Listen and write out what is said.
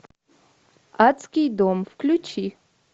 адский дом включи